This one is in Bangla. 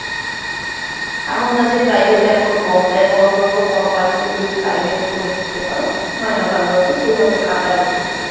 এমন না যে private এখন কম দেয়, বড় বড় কোম্পানিতে যদি private এ তুমি ঢুকতে পারো, মাইনা ভালো আছে, সেইভাবে খাটাবে তোমাকে,